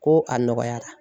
Ko a nɔgɔyara